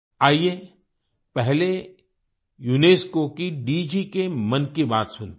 आइये पहले यूनेस्को की डीजी के मन की बात सुनते हैं